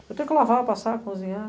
Eu tenho que lavar, passar, cozinhar.